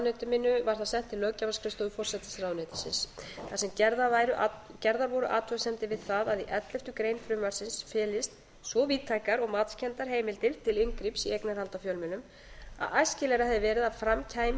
mínu var það sent til löggjafarskrifstofu forsætisráðuneytisins þar sem gerðar voru athugasemdir við það að í elleftu greinar frumvarpsins felist svo víðtækar og matskenndar heimildir til inngrips í eignarhald á fjölmiðlum að æskilegra hefði verið að fram kæmi í